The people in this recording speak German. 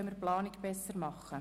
So können wir besser planen.